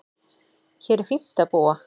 Hér er fínt að búa.